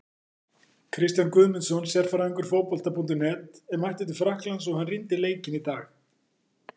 Kristján Guðmundsson, sérfræðingur Fótbolta.net, er mættur til Frakklands og hann rýndi í leikinn í dag.